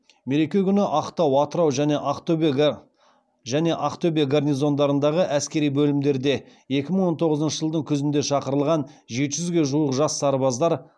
мереке күні ақтау атырау және ақтөбе гарнизондарындағы әскери бөлімдерге екі мың он тоғызыншы жылдың күзінде шақырылған жеті жүзге жуық жас сарбаздар